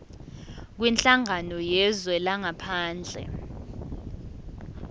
kwinhlangano yezwe langaphandle